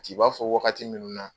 C'i b'a fɔ wagati minnu na